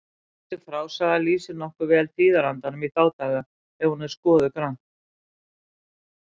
Þessi frásaga lýsir nokkuð vel tíðarandanum í þá daga ef hún er skoðuð grannt.